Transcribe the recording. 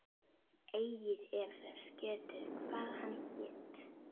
Eigi er þess getið, hvað hann hét.